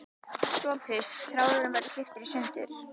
SOPHUS: Þráðurinn verður klipptur í sundur.